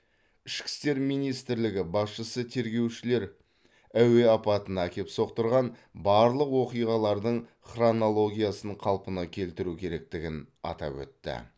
ішкі істер министрлігі басшысы тергеушілер әуе апатына әкеп соқтырған барлық оқиғалардың хронологиясын қалпына келтіру керектігін атап өтті